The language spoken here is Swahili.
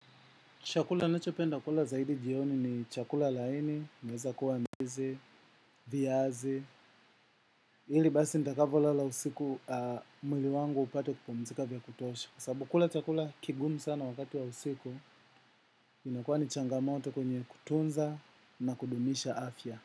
Chakula nachopenda kula zaidi jioni ni chakula laini, inaeza kuwa ndizi, viazi, ili basi nitakavolala usiku mwili wangu upate kupumzika vya kutosha. Kwa sababu kula chakula kigumu sana wakati wa usiku, inakuwa ni changamoto kwenye kutunza na kudumisha afya.